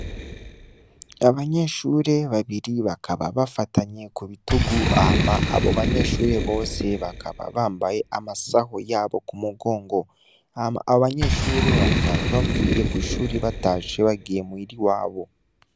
Abanyeshure babiri bakaba bafatanye kubitugu hama abobanyeshure bose bakaba bambaye amasaho yabo kumugongo hama abobanyeshure bakaba bavuye kwishure batashe bagiye muhira iwabo